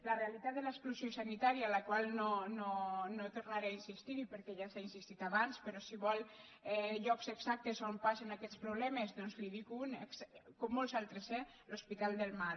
la realitat de l’exclusió sanitària en la qual no tornaré a insistir perquè ja s’hi ha insistit abans però si vol llocs exactes on passen aquests problemes doncs n’hi dic un com molts altres eh l’hospital del mar